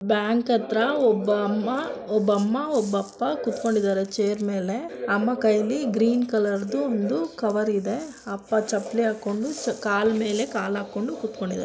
bank ಹತ್ರ ಒಬ್ಬ ಅಮ್ಮ ಒಬ್ಬ ಅಮ್ಮ ಒಬ್ಬ ಅಪ್ಪ ಕುತ್ಕೊಂಡಿದ್ದಾರೆ ಚೇರ್ ಮೇಲೆ ಅಮ್ಮ ಕೈಯಲ್ಲಿ ಗ್ರೀನ್ ಕಲರ್ ದು ಒಂದು ಕವರ್ ಇದೆ ಅಪ್ಪ ಚಪ್ಲಿ ಹಾಕೊಂಡು ಕಾಲ್ ಮೇಲೆ ಕಾಲ್ ಹಾಕೊಂಡು ಕುತ್ಕೊಂಡಿದ್ದಾರೆ --